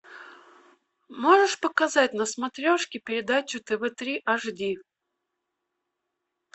можешь показать на смотрешке передачу тв три аш ди